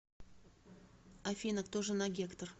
афина кто жена гектор